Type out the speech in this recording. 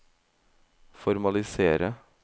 formalisere